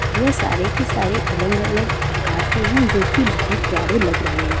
यह सारे के सारे अलग-अलग आकार के है जो की बहोत प्यारे लग रहे है।